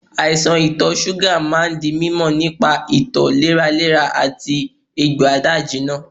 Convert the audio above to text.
Àìsàn ito suga máa ń di mímọ nípa ito léraléra àti egbò ada-ijina.